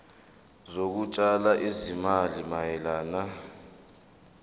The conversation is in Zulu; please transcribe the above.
zokutshala izimali mayelana